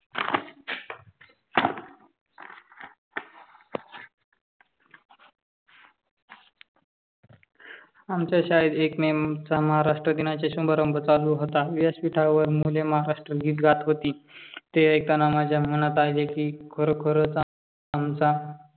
आमच्या शाळेत एक मी महाराष्ट्राचा समारंभ चालू होता. व्यासपीठावर मुले महाराष्ट्र गीत गात होती. ते ऐकताना माझ्या मनात आले कि खरोखरचा आमचा